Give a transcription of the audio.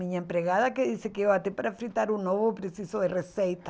Minha empregada que diz que eu até para fritar um ovo preciso de receita.